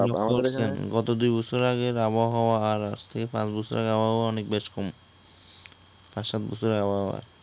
খেয়াল করেছেন গত দুই বছর আগের আবহাওয়া আর আজকের থেকে পাচ বছর আগের আবহাওয়া অনেক বেশকম । পাচ সাত বছরের আবহাওয়া